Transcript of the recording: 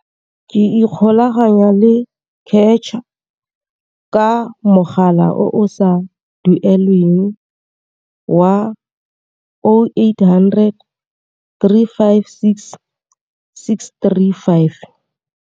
Ka ikgolaganya le CACH ka mogala o o sa duelelweng wa 0800 356 635.